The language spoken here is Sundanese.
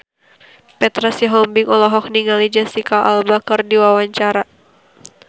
Petra Sihombing olohok ningali Jesicca Alba keur diwawancara